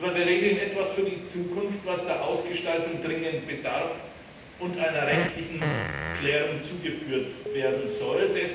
Aber wir regeln etwas für die Zukunft, was der Ausgestaltung dringend bedarf und einer rechtlichen Klärung zugeführt werden soll.